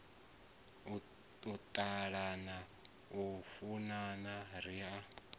u ṱalana u funana ri